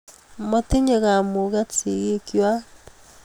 Motinyei kamuget sigikwai